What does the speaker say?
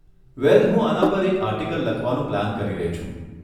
વેલ, હું આના પર એક આર્ટીકલ લખવાનું પ્લાન કરી રહી છું.